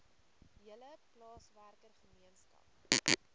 hele plaaswerker gemeenskap